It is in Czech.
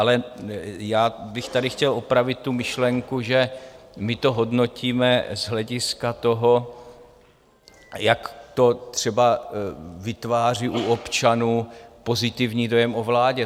Ale já bych tady chtěl opravit tu myšlenku, že my to hodnotíme z hlediska toho, jak to třeba vytváří u občanů pozitivní dojem o vládě.